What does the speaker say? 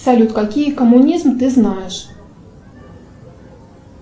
салют какие коммунизм ты знаешь